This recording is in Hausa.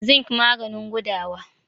zinc maganin gudawa